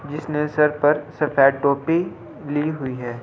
जिसने सर पर सफेद टोपी ली हुई है।